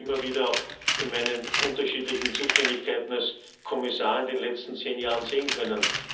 Ich habe das immer wieder auch in meinen unterschiedlichen Zuständigkeiten als Kommissar in den letzten zehn Jahren sehen können.